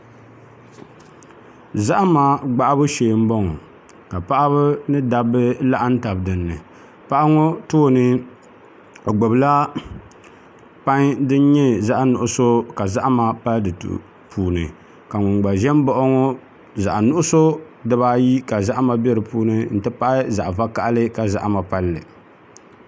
Zahama gbahabu shee n bɔŋɔ ka paɣaba ni dabba laɣam tabi dinni paɣa ŋɔ tooni o gbubila pai din nyɛ zaɣ nuɣso ka zahama pali di puuni ka ŋun gba ʒɛ n baɣa o ŋɔ zaɣ nuɣso dibaayi ka zahama bɛ di puuni n ti pahi zaɣ vakaɣali ka zahama palli